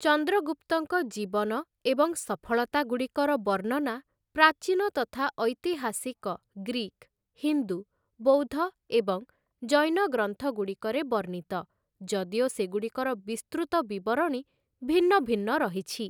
ଚନ୍ଦ୍ରଗୁପ୍ତଙ୍କ ଜୀବନ ଏବଂ ସଫଳତାଗୁଡ଼ିକର ବର୍ଣ୍ଣନା ପ୍ରାଚୀନ ତଥା ଐତିହାସିକ ଗ୍ରୀକ୍, ହିନ୍ଦୁ, ବୌଦ୍ଧ ଏବଂ ଜୈନ ଗ୍ରନ୍ଥଗୁଡ଼ିକରେ ବର୍ଣ୍ଣିତ, ଯଦିଓ ସେଗୁଡ଼ିକର ବିସ୍ତୃତ ବିବରଣୀ ଭିନ୍ନ ଭିନ୍ନ ରହିଛି ।